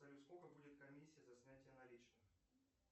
салют сколько будет комиссия за снятие наличных